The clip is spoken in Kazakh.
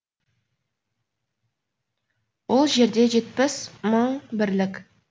ол жерде жетпіс мың бірлік